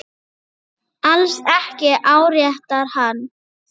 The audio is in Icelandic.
Alls ekki áréttar hann.